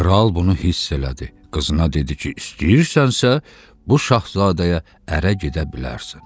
Kral bunu hiss elədi, qızına dedi ki, istəyirsənsə, bu şahzadəyə ərə gedə bilərsən.